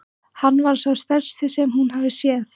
Hann var sá stærsti sem hún hafði séð.